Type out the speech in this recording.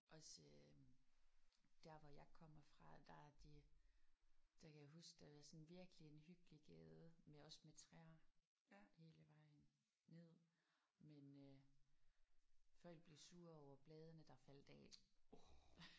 Også øh der hvor jeg kommer fra der er de der kan jeg huske der var sådan en virkelig en hyggelig gade med også med træer hele vejen ned men øh folk blev sure over bladene der faldt af